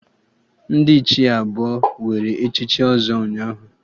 Ndị Ichie abụọ were echichi ọzọ ụnyaahụ